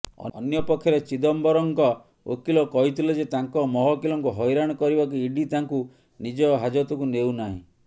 ଅନ୍ୟପକ୍ଷରେ ଚିଦମ୍ବରମଙ୍କ ଓକିଲ କହିଥିଲେ ଯେ ତାଙ୍କ ମହକିଲଙ୍କୁ ହଇରାଣ କରିବାକୁ ଇଡି ତାଙ୍କୁ ନିଜ ହାଜତକୁ ନେଉନାହିଁ